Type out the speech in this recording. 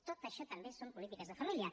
tot això també són polítiques de família